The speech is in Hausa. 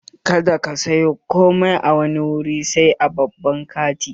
Kada ka sayo komai a wani wuri sai a babban kanti!